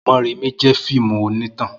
Morèmi jẹ fíìmù oní tàn